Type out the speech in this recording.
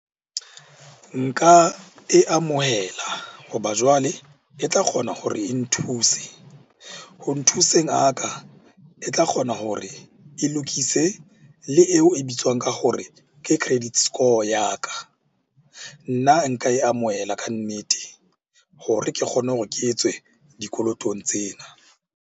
Nka e amohela hoba jwale e tla kgona hore e nthuse. Ho nthuseng a ka, e tla kgona hore e lokise le eo e bitswang ka hore ke credit score ya ka. Nna nka e amohela kannete hore ke kgone hore ke etswe dikolotong tsena.